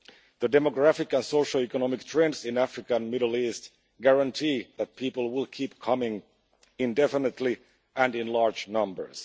The demographic and socioeconomic trends in Africa and the Middle East guarantee that people will keep coming indefinitely and in large numbers.